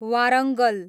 Warangal